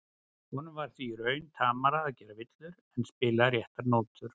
Honum var því í raun tamara að gera villur en að spila réttar nótur.